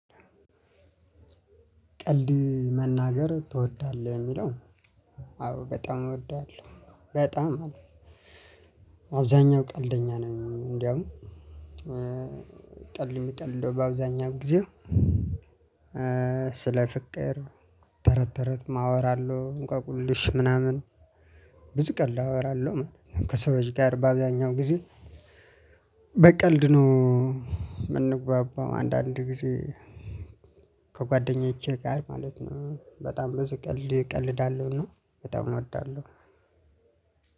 ቀልድ መናገር ትወዳለህ የሚለው? አዎ በጣም እወዳለሁ በጣም አለ። አብዛኛው ቀልደኛ ነኝ። እንደውም ቀልድ የምቀልደው በአብዛኛው ጊዜ። ስለ ፍቅር ተረት ተረትም አወራለሁ እንቆቁልሽ ምናምን። ብዙ ቀን ላወራለሁ ማለት ነው። ከሰው ጋር ባገኘው ጊዜ። በቀልድ ነው። የምንግባባው አንዳንድ ጊዜ። ከጓደኞቼ ጋር ማለት ነው በጣም ብዙ ቀልድ እቀልዳለሁና በጣም እወዳለሁ።